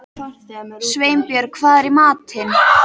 Sveinbjörg, hvað er í matinn?